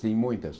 Sim, muitas.